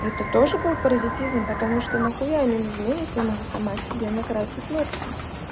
это тоже был паразитизм потому что нахуя они нужны если я могу сама себе накрасить ногти